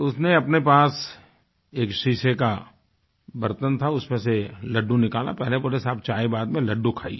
तो उसने अपने पास एक शीशे का बर्तन था उसमें से लड्डू निकाला पहले बोला साहब चाय बाद में लड्डू खाइए